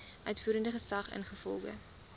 uitvoerende gesag ingevolge